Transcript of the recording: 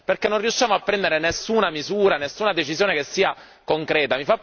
Perché non riusciamo a prendere nessuna misura, nessuna decisione che sia concreta.